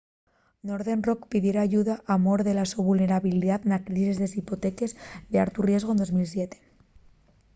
northern rock pidiera ayuda por mor de la so vulnerabilidá na crisis de les hipoteques d’altu riesgu de 2007